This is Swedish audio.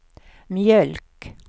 mjölk